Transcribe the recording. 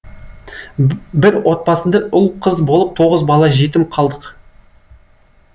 бір отбасында ұл қыз болып тоғыз бала жетім қалдық